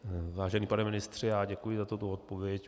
Vážený pane ministře, já děkuji za tuto odpověď.